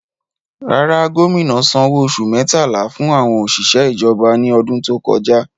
Rárá, gómìnà sanwó oṣù mẹ́tàlá fún àwọn òṣìṣẹ́ ìjọba ní ọdún tó kọjá.